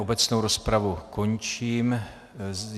Obecnou rozpravu končím.